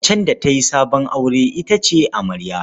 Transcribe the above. Macen da ta yi sabon aure ita ce amarya.